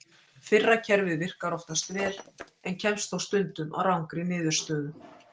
Fyrra kerfið virkar oftast vel en kemst þó stundum að rangri niðurstöðu.